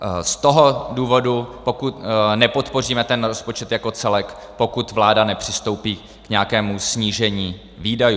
Z toho důvodu nepodpoříme ten rozpočet jako celek, pokud vláda nepřistoupí k nějakému snížení výdajů.